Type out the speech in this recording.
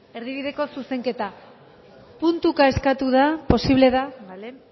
erdibideko zuzenketa puntuka eskatu da posible da bale